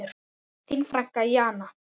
Þín frænka Jana.